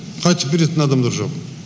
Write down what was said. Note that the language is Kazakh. қайтып беретін адамдар жоқ